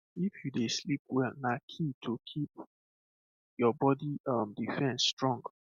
if you dey sleep well na key to keep your body um defense strong